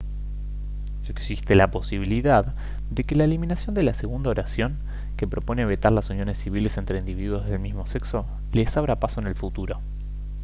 existe la posibilidad de que la eliminación de la segunda oración que propone vetar las uniones civiles entre individuos del mismo sexo les abra el paso en el futuro